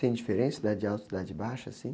Tem diferença Cidade Alta e Cidade Baixa, assim?